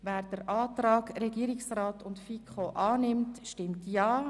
Wer den Antrag von Regierungsrat und FiKo annimmt, stimmt Ja.